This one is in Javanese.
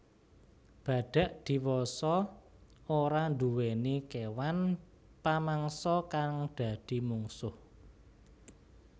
Badhak diwasa ora nduwèni kéwan pamangsa kang dadi mungsuh